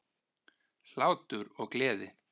Hlátur og gleði.